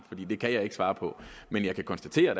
det kan jeg ikke svare på men jeg kan konstatere